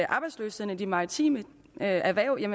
arbejdsløsheden i de maritime erhverv er